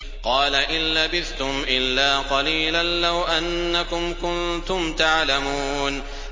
قَالَ إِن لَّبِثْتُمْ إِلَّا قَلِيلًا ۖ لَّوْ أَنَّكُمْ كُنتُمْ تَعْلَمُونَ